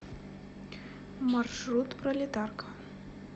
маршрут пролетарка